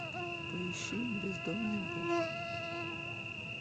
поищи бездомный бог